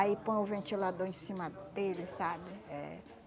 Aí põe o ventilador em cima dele, sabe? É